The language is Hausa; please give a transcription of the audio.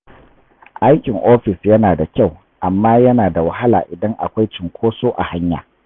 Aikin ofis yana da kyau, amma yana da wahala idan akwai cunkoso a hanya.